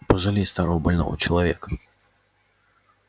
пожалей старого больного человека